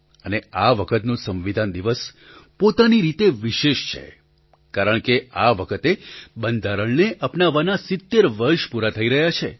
અને આ વખતનો સંવિધાન દિવસ પોતાની રીતે વિશેષ છે કારણ કે આ વખતે બંધારણને અપનાવવાનાં ૭૦ વર્ષ પૂરાં થઈ રહ્યાં છે